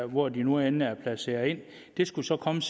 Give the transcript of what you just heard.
hvor de nu end er placeret det skulle så komme